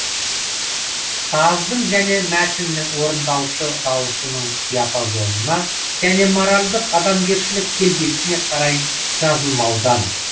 саздың және мәтіннің орындаушы даусының диапазонына және моральдық адамгершілік келбетіне қарай жазылмаудан